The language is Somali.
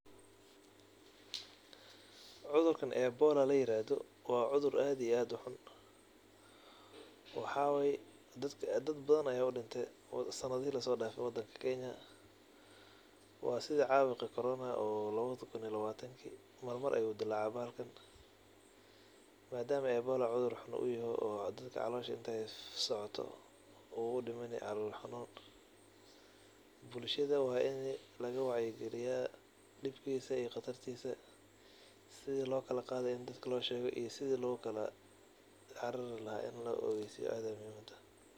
Cudurkan ebola layirahdo wa cusur aad iyo aad ixun wayo dad badan aya udintay sanadihi lasodafe wadanka Kenya. Wa sida cabuqi corona ee lawada kuun iyo lawatanki ayu dilace bahalkan, madama ebola uu cudur xuun uyahay oo dadka calosha intey socoto uu udimsni calol xanun, bulshada wa ini lagawacyi galiya dibkisa iyo qatartisa sida lokala qadayo inii dadka loshego iyo sida carari laha ini laogeysiyo aad ayey muhim utahay.